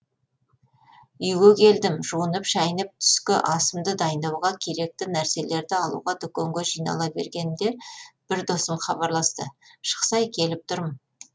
үйге келдім жуынып шайынып түскі асымды дайындауға керекті нәрселерді алуға дүкенге жинала бергенімде бір досым хабарласты шықсай келіп тұрм